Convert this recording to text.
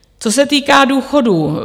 Co se týká důchodů.